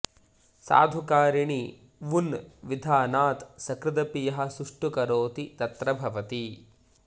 साधुकारिणि वुन् विधानात् सकृदपि यः सुष्ठु करोति तत्र भवति